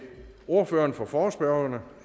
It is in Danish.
ordføreren for forespørgerne